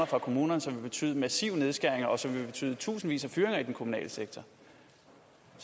fra kommunerne som vil betyde massive nedskæringer og som vil betyde tusindvis af fyringer i den kommunale sektor